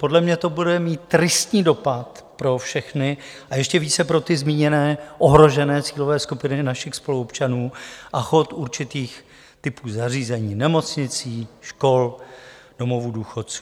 Podle mě to bude mít tristní dopad pro všechny, a ještě více pro ty zmíněné ohrožené cílové skupiny našich spoluobčanů a chod určitých typů zařízení - nemocnic, škol, domovů důchodců.